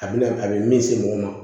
A bɛna a bɛ min se mɔgɔ ma